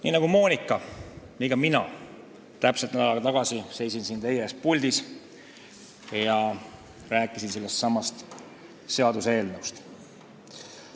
Nii nagu Monika, seisin ka mina täpselt nädal aega tagasi teie ees puldis ja rääkisin sellestsamast eelnõust.